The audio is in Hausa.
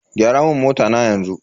Gyara mun mota na yanzu.